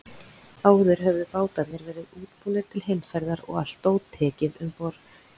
Áður höfðu bátarnir verið útbúnir til heimferðar og allt dót tekið um borð.